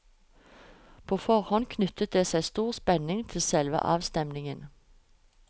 På forhånd knyttet det seg stor spenning til selve avstemningen.